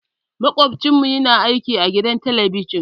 Makwabcinmu yana aiki a gidan talabijin.